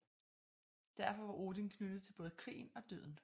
Derfor var Odin knyttet til både krigen og døden